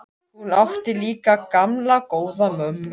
Hún átti líka gamla, góða mömmu.